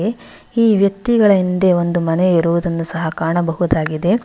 ಈ ವ್ಯಕ್ತಿಗಳ ಹಿಂದೆ ಒಂದು ಮನೆ ಇರುವುದನ್ನು ಸಹ ಕಾಣಬಹುದಾಗಿದೆ.